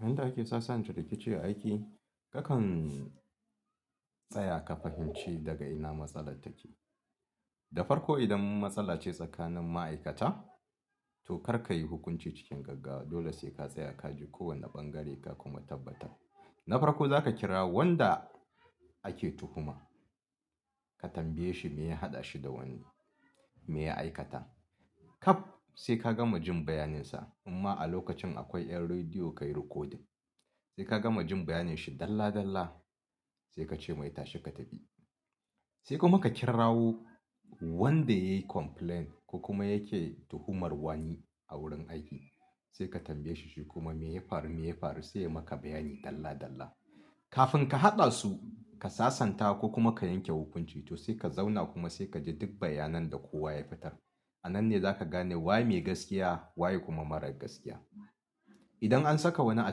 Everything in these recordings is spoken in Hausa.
Yanda ake sasanta rikici aiki, nakan tsaya ka fahimci daga ina matsalar take. Da farko idan matsala ce tsakanin ma'aikata, to karka yi hukunci cikin gaggawa. Dole sai ka tsaya ka ji kowane bangare ka kuma tabbatar. Na farko za ka kira wanda ake tuhuma, ka tambaye shi me ya haɗa shi da wani me ya aikata. Kam sai ka gama jin bayaninsa imma a lokacin akwai 'yan rediyo ka yi recording. Sai ka gama jin bayanin shi dalla dalla sai ka ce mai tashi ka tafi. Sai kuma ka kirawo wanda yayi complain ko kuma yake tuhumar wani a wurin aiki. Sai ka tambaye shi shi kuma me ya faru me ya faru sai ya maka bayani dalla dalla. Kafin ka haɗa su ka sasanta ko kuma ka yanke hukunci to sai ka zauna kuma sai ka ji duk bayanan da kowa ya fita. A nan ne za ka gane waye me gaskiya wa kuma mara gaskiya. Idan an saka wani a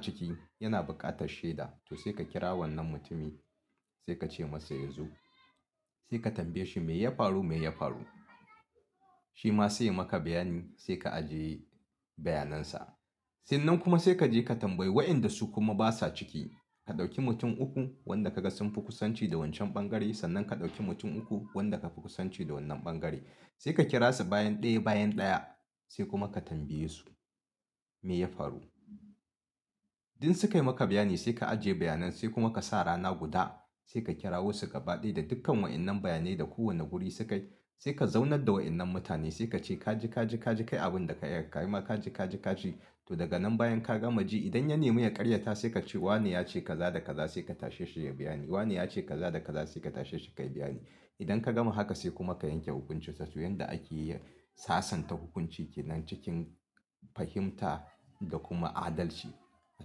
ciki yana buƙatar shaida to sai ka kira wannan mutumin sai ka ce masa yazo. Sai ka tambaye shi me ya faru me ya faru. Shi ma sai ya maka bayani sai ka ajiye bayanan sa. Sai nan kuma sai kaje ka tambayi waɗanda su kuma basa ciki. Ka ɗauki mutum uku wanda ka ga sun fi kusanci da wancan bangare sannan ka ɗauki mutum uku wanda ka fi kusanci da wannan bangare. Sai ka kira su bayan ɗaya bayan ɗaya sai kuma ka tambaye su me ya faru. In sukayi maka bayani sai ka ajiye bayanan sai kuma ka sa rana guda sai ka kirawo su gaba ɗaya da dukkan wa'innan bayanai da kowane guri suka yi. Sai ka zaunar da wa'innan mutane sai ka ce kaji kaji kaji kai abin da ka iya ka yi ma kaji kaji ka ci. To daga nan bayan ka gama ji idan ya nemi ya karyata sai ka ce wane yace kaza da kaza sai ka tashe shi ya biya ni. Wane yace kaza da kaza sai ka tashe shi ka yi bayani. Idan ka gama haka sai kuma ka yanke hukuncinsa. To yanda ake sasanta hukunci ke nan cikin fahimta da kuma adalci a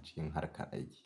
cikin harkar aiki.